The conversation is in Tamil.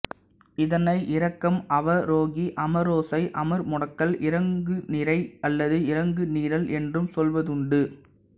இதனை இறக்கம் அவரோஹி அமரோசை அமர்முடுகல் இறங்குநிரை அல்லது இறங்குநிரல் என்றும் சொல்வதுண்டு